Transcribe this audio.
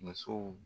Musow